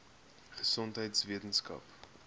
gesondheidweskaap